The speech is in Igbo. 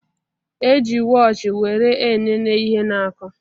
E ji wọochi were enene ihe na-akụ